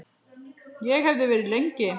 Og hefði verið lengi.